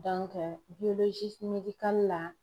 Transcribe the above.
Dɔnke biyolozisiri medikali la